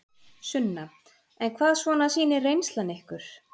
Sunna: En hvað svona sýnir reynslan ykkur?